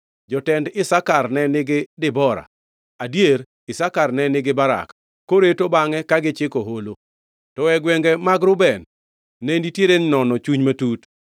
Jotend Isakar ne nigi Debora; adier, Isakar ne nigi Barak, koreto bangʼe ka gichiko holo. To e gwenge mag Reuben ne nitiere nono chuny matut.